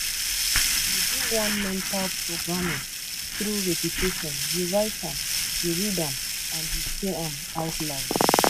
you do one mental reprogramming through repetition you write am you read am and you say am out loud